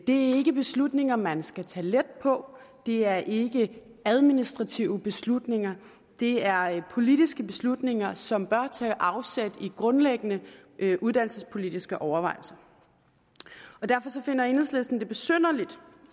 er ikke beslutninger man skal tage let på det er ikke administrative beslutninger det er politiske beslutninger som bør tage afsæt i grundlæggende uddannelsespolitiske overvejelser og derfor finder enhedslisten det besynderligt